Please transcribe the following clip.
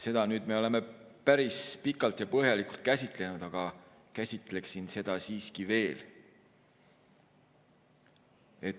" Seda me oleme nüüd päris pikalt ja põhjalikult käsitlenud, aga käsitleksin seda siiski veel.